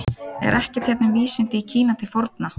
Er ekkert hérna um vísindi í Kína til forna?